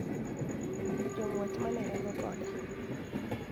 Jong`wech ma ne ringo kode